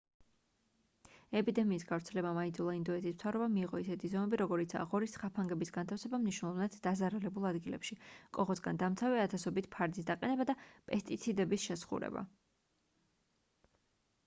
ეპიდემიის გავრცელებამ აიძულა ინდოეთის მთავრობა მიეღო ისეთი ზომები როგორიცაა ღორის ხაფანგების განთავსება მნიშვნელოვნად დაზარალებულ ადგილებში კოღოსგან დამცავი ათასობით ფარდის დაყენება და პესტიციდების შესხურება